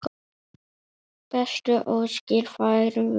Bestu óskir færum við.